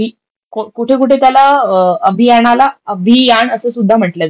कुठे कुठे त्याला अभियानाला अभियाण असं सुद्धा म्हटलं जातं.